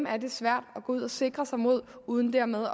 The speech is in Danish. er det svært at gå ud og sikre sig imod uden dermed